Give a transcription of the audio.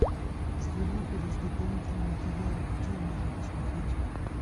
зверополис дополнительные материалы какие можно посмотреть